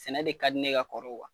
Sɛnɛ de ka di ne ye ka kɔrɔ kuwa